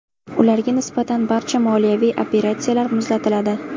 Ularga nisbatan barcha moliyaviy operatsiyalar muzlatiladi.